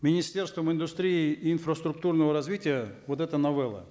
министерством индустрии и инфраструктурного развития вот эта новелла